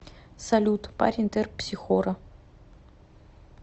салют парень терпсихора